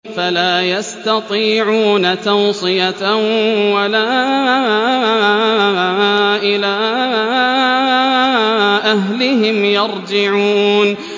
فَلَا يَسْتَطِيعُونَ تَوْصِيَةً وَلَا إِلَىٰ أَهْلِهِمْ يَرْجِعُونَ